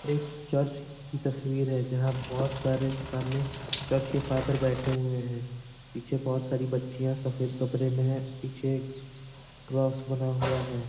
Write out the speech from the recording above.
यह एक चर्च की तस्वीर है जहाँ बहुत सारे सामने चर्च के फादर बैठे हुए हैं पीछे बहुत सारी बच्चियाँ सफ़ेद कपड़े में है पीछे क्रोस बना हुआ है।